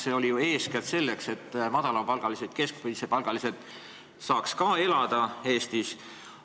See oli ju tehtud eeskätt selleks, et madala ja keskmise palgaga inimesed, sellise sissetuleku saajad saaksid ka Eestis normaalselt ära elada.